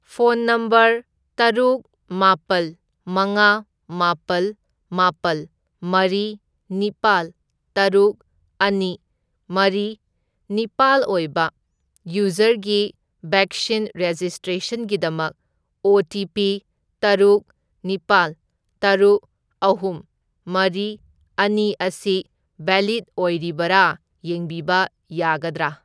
Phone number ꯇꯔꯨꯛ, ꯃꯥꯄꯜ, ꯃꯉꯥ, ꯃꯥꯄꯜ, ꯃꯥꯄꯜ, ꯃꯔꯤ, ꯅꯤꯄꯥꯜ, ꯇꯔꯨꯛ, ꯑꯅꯤ, ꯃꯔꯤ, ꯅꯤꯄꯥꯜ ꯑꯣꯏꯕ ꯌꯨꯖꯔꯒꯤ ꯕꯦꯛꯁꯤꯟ ꯔꯦꯖꯤꯁꯇ꯭ꯔꯦꯁꯟꯒꯤꯗꯃꯛ ꯑꯣ.ꯇꯤ.ꯄꯤ. ꯇꯔꯨꯛ, ꯅꯤꯄꯥꯜ, ꯇꯔꯨꯛ, ꯑꯍꯨꯝ, ꯃꯔꯤ, ꯑꯅꯤ ꯑꯁꯤ ꯚꯦꯂꯤꯗ ꯑꯣꯏꯔꯤꯕꯔꯥ ꯌꯦꯡꯕꯤꯕ ꯌꯥꯒꯗ꯭ꯔꯥ?